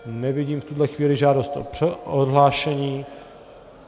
Nevidím v tuto chvíli žádost o odhlášení.